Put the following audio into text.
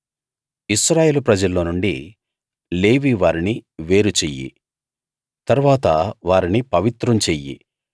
ఇశ్రాయేలు ప్రజల్లోనుండి లేవీ వారిని వేరు చెయ్యి తరువాత వారిని పవిత్రం చెయ్యి